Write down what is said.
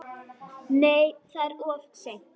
Nei, það er of seint.